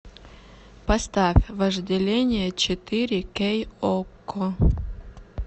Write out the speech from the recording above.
поставь вожделение четыре кей окко